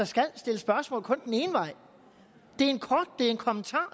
skal stilles spørgsmål den ene vej det er en kommentar